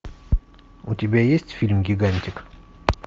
у тебя есть фильм гигантик